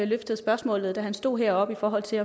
løftede spørgsmålet da han stod heroppe i forhold til